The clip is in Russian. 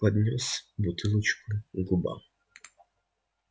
поднёс бутылочку к губам